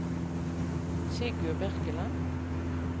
Sigurd Birkeland